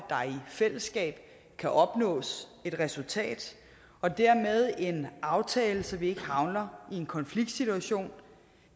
fællesskab kan opnås et resultat og dermed en aftale så vi ikke havner i en konfliktsituation